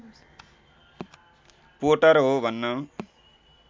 Potter हो भन्न